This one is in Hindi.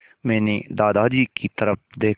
मैंने दादाजी की तरफ़ देखा